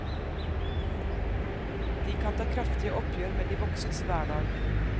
De kan ta kraftige oppgjør med de voksnes hverdag.